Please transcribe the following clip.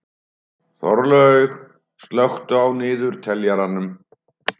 Þorlaug, slökktu á niðurteljaranum.